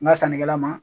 N ka sannikɛla ma